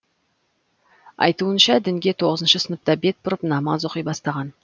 айтуынша дінге тоғызыншы сыныпта бет бұрып намаз оқи бастаған